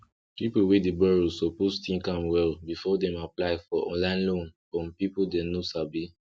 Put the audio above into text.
people wey dey borrow suppose think am well before dem apply for online loan from people dem no sabi